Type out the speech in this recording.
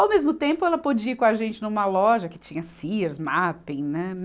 Ao mesmo tempo, ela podia ir com a gente numa loja que tinha Sears, Mappin, né?